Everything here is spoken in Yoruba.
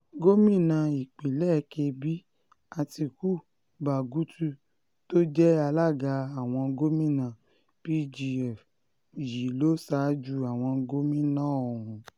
gómìnà ìpínlẹ̀ kebbi àtiku bagutu tó jẹ́ alága àwọn gòmìnà pgf yìí ló ṣáájú àwọn gómìnà ọ̀hún